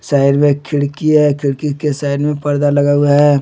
Side में एक खिड़की है खिड़की के साइड में पर्दा लगा हुआ है।